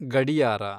ಗಡಿಯಾರ